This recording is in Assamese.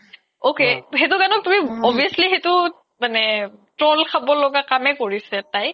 ok সেইতো গানক তুমি obviously সেইতো মানে troll খাবলগা কামে কৰিছে তাই